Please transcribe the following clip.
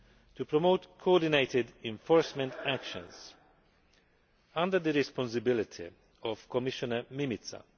to promote coordinated enforcement actions under the responsibility of Commissioner Mimica.